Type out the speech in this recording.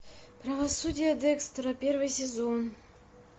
правосудие декстера первый сезон